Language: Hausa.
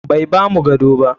Bai bamu gado ba.